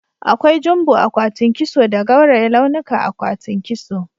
Akwai jumbo akwatin kiso da gauraye launuka akwatin kiso.